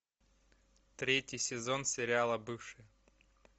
третий сезон сериала бывшие